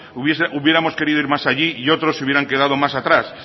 hubiéramos querido ir más allí y otros se hubieran quedado más atrás